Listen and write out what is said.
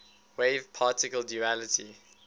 wave particle duality